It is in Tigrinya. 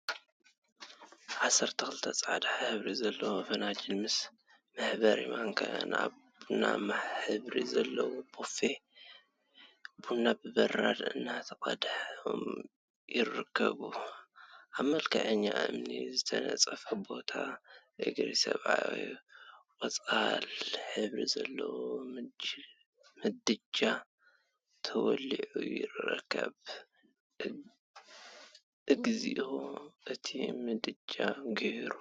ዓሰርተ ክልተ ፃሕዳ ሕብሪ ዘለዎም ፍንጃላት ምስ መሕበሪ ማንካ አብ ቡናማ ሕብሪ ዘለዎ ቦፌ ቡና ብበራድ እናተቀድሖም ይርከቡ፡፡ አብ መልክዐኛ እምኒ ዝተነፀፎ ቦታ እግሪ ሰብን ቆፃል ሕብሪ ዘለዎ ምድጃ ተወሊዑ ይርከብ፡፡ እግዚኦ እቲ ምድጃ ጉሂሩ፡፡